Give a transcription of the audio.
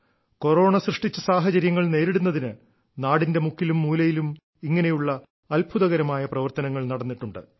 corona സൃഷ്ടിച്ച സാഹചര്യങ്ങൾ നേരിടുന്നതിന് നാടിന്റെ മുക്കിലും മൂലയിലും ഇങ്ങനെയുള്ള അത്ഭുതകരമായ പ്രവർത്തനങ്ങൾ നടന്നിട്ടുണ്ട്